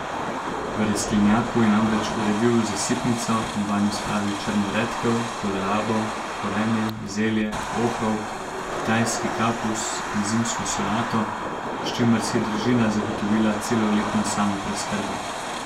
V rastlinjaku je namreč uredil zasipnico in vanjo spravil črno redkev, kolerabo, korenje, zelje, ohrovt, kitajski kapus in zimsko solato, s čimer si je družina zagotovila celoletno samopreskrbo.